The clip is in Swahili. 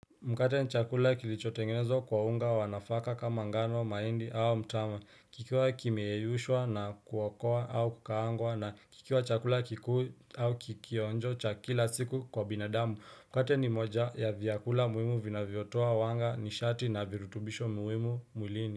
Mkate ni chakula kilichotengenezwa kwa unga wa nafaka kama ngano, mahindi au mtama. Kikiwa kimeyeyushwa na kuokoa au kukaangwa na kikiwa chakula kikuu au kionjo cha kila siku kwa binadamu. Mkate ni moja ya vyakula muhimu vinavyotua wanga nishati na virutubisho muhimu mwilini.